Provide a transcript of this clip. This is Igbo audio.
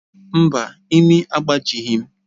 Mba, imi m agbajighị